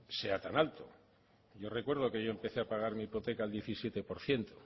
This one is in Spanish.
sea tan alto yo recuerdo que yo empecé a pagar mi hipoteca al diecisiete por ciento